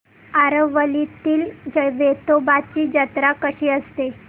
आरवलीतील वेतोबाची जत्रा कशी असते